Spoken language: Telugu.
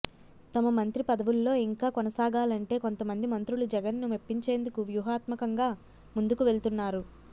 తమ మంత్రి పదవుల్లో ఇంకా కొనసాగాలంటే కొంతమంది మంత్రులు జగన్ ను మెప్పించేందుకు వ్యూహాత్మకంగా ముందుకు వెళ్తున్నారు